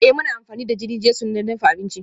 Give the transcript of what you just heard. Ee, muna amfani da jini-jesu don dafa abinci